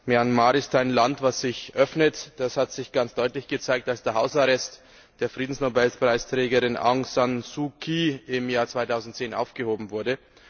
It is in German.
Myanmar ist ein Land, das sich öffnet. Das hat sich ganz deutlich gezeigt, als der Hausarrest der Friedensnobelpreisträgerin Aung San Suu Kyi im Jahr 2010 aufgehoben wurde.